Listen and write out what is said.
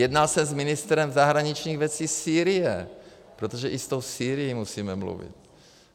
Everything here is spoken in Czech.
Jednal jsem s ministrem zahraničních věcí Sýrie, protože i s tou Sýrií musíme mluvit.